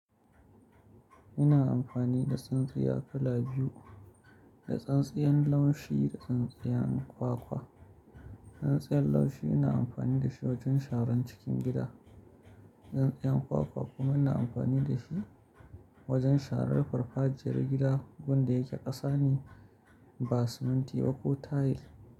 Ina amfani da tsintsiya kala biyu, da tsintsiyar laushi da tsintsiyar kwakwa. Tsintsiyar laushi ina amfani da shi wajen sharan cikin gida. Tsintsiyar kwakwa kuma ina amfani da shi wajen sharan farfajiyar gida, gurin da yeke ƙasa ne ba siminti ba ko tayil.